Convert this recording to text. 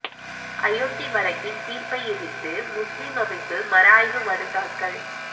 அயோத்தி வழக்கின் தீா்ப்பை எதிா்த்து முஸ்லிம் அமைப்பு மறுஆய்வு மனு தாக்கல்